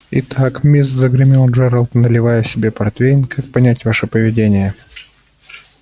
итак мисс загремел джералд наливая себе портвейна как понять ваше поведение